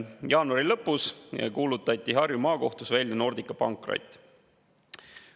Jaanuari lõpus kuulutati Harju Maakohtus välja Nordica pankrot.